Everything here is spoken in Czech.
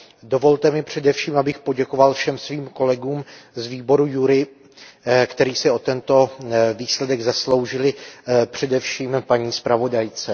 Dovolte mi především, abych poděkoval všem svým kolegům z výboru JURI, kteří se o tento výsledek zasloužili, především paní zpravodajce.